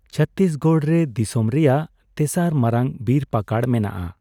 ᱪᱷᱚᱛᱛᱨᱤᱥᱜᱚᱲ ᱨᱮ ᱫᱤᱥᱚᱢ ᱨᱮᱭᱟᱜ ᱛᱮᱥᱟᱨ ᱢᱟᱨᱟᱝ ᱵᱤᱨᱼᱯᱟᱠᱟᱲ ᱢᱮᱱᱟᱜᱼᱟ ᱾